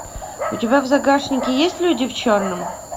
у тебя в загашнике есть люди в черном